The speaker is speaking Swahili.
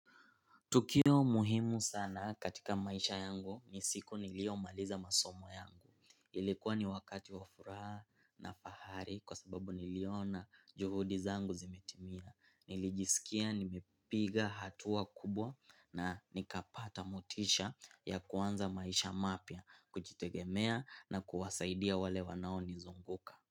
Tukio muhimu sana katika maisha yangu, ni siku niliyo maliza masomo yangu. Ilikuwa ni wakati wa furaha na fahari kwa sababu niliona juhudi zangu zimetimia. Nilijisikia nimepiga hatua kubwa na nikapata motisha ya kuanza maisha mapya, kujitegemea na kuwasaidia wale wanao nizunguka.